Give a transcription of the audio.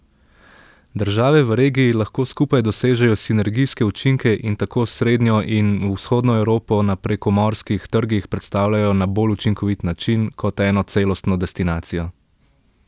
Države v regiji lahko skupaj dosežejo sinergijske učinke in tako srednjo in vzhodno Evropo na prekomorskih trgih predstavijo na bolj učinkovit način, kot eno celostno destinacijo.